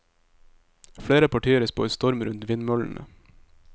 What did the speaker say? Flere partier spår storm rundt vindmøllene.